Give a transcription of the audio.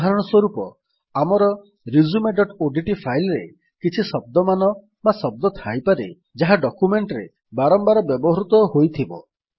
ଉଦାହରଣ ସ୍ୱରୂପ ଆମର resumeଓଡିଟି ଫାଇଲ୍ ରେ କିଛି ଶବ୍ଦମାନ ବା ଶବ୍ଦ ଥାଇପାରେ ଯାହା ଡକ୍ୟୁମେଣ୍ଟ୍ ରେ ବାରମ୍ବାର ବ୍ୟବହୃତ ହୋଇଥିବ